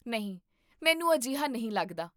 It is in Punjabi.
ਨਹੀਂ, ਮੈਨੂੰ ਅਜਿਹਾ ਨਹੀਂ ਲੱਗਦਾ